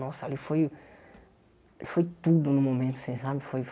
Nossa, ali foi... Foi tudo no momento, assim, sabe? Foi